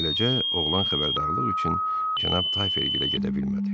Beləcə, oğlan xəbərdarlıq üçün cənab Tayferə gedə bilmədi.